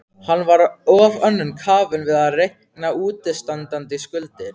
Hann var of önnum kafinn við að reikna útistandandi skuldir.